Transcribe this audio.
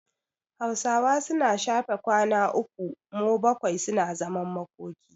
Hausawa suna shafe kwana uku mo bakwai suna zaman makoki.